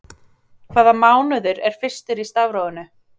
Hvaða mánuður er fyrstur í stafrófinu?